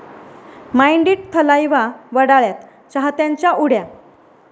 mind इट...थलाइवा वडाळ्यात!, चाहत्यांच्या उड्या...